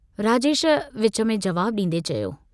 राजेश विच में जवाबु डींदे चयो।